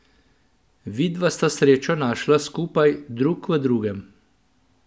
Vidva sta srečo našla skupaj, drug v drugem.